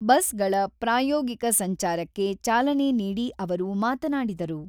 ಬಸ್‌ಗಳ ಪ್ರಾಯೋಗಿಕ ಸಂಚಾರಕ್ಕೆ ಚಾಲನೆ ನೀಡಿ ಅವರು ಮಾತನಾಡಿದರು.